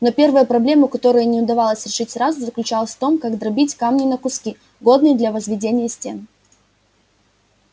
но первая проблема которую не удалось решить сразу заключалась в том как дробить камни на куски годные для возведения стен